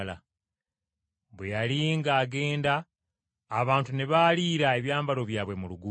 Bwe yali ng’agenda, abantu ne baaliira ebyambalo byabwe mu luguudo.